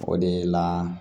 O de la